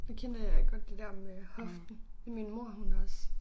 Det kender jeg godt det der med hoften min mor hun også